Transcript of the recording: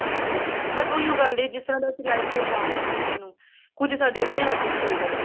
ਬਸ ਉਹੀ ਓ ਗੱਲ ਹੈ ਜਿਸ ਤਰ੍ਹਾਂ ਦਾ life style ਅਸੀਂ ਦਾਨਗੇ ਨਾ ਬੱਚੇ ਨੂੰ ਕੁੱਛ ਸਾਡੇ ਆਪਣੇ ਹੱਥ ਵਿੱਚ ਵੀ ਹੈਗਾ ਏ